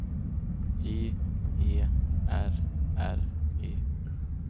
J E R R Y